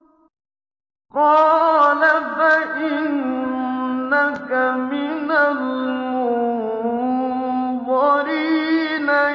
قَالَ فَإِنَّكَ مِنَ الْمُنظَرِينَ